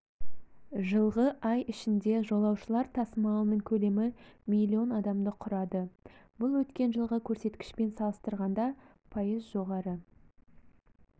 жылғы ай ішінде жолаушылар тасымалының көлемі млн адамды құрады бұл өткен жылғы көрсеткішпен салыстырғанда пайыз жоғары